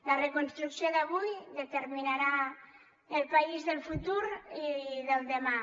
la reconstrucció d’avui determinarà el país del futur i del demà